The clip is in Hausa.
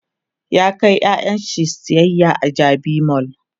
ya kai ƴaƴansa sayayya a jabi mall